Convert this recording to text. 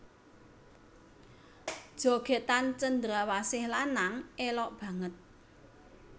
Jogètan cendrawasih lanang élok banget